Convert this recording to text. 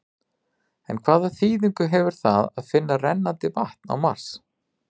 En hvaða þýðingu hefur það að finna rennandi vatn á Mars?